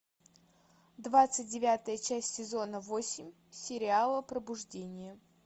двадцать девятая часть сезона восемь сериала пробуждение